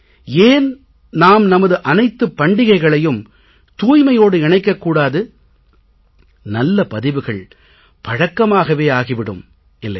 ஏன் நாம் நமது அனைத்துப் பண்டிகைகளையும் தூய்மையோடு இணைக்கக் கூடாது நல்ல பதிவுகள் பழக்கமாகவே ஆகி விடும் இல்லையா